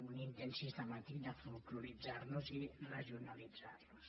un intent sistemàtic de flolkloritzar nos i regionalitzar nos